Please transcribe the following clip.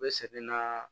U bɛ sɛgɛn na